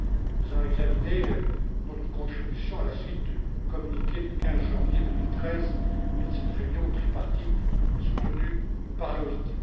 Nous allons nous interroger sur notre contribution, à la suite du communiqué du 15 janvier 2013 et de cette réunion tripartite soutenue par l'OIT.